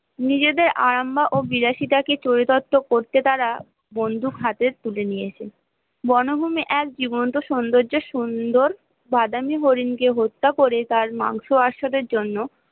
নিজেদের আরাম বা অবিলাসিতা কে চরিতার্থ করতে তারা বন্দুক হাতে তুলে নিয়েছে বনভূমি এক জীবন্ত সৌন্দর্যের সুন্দর বাদামি হরিণ কে হত্যা করে তার মাংস আর স্যারের জন্য